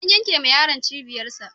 An yankewa yaron cibiyarsa.